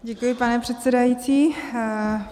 Děkuji, pane předsedající.